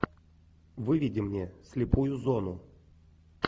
выведи мне слепую зону